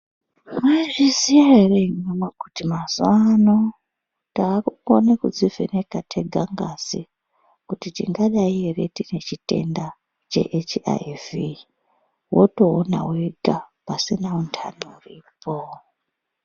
Maizviziya ere imi hama kuti, taakukona kudzivheneka tega ngazi kuti tingadai ere tine chitenda cheHIV, wotoona wega pasina antani uripo.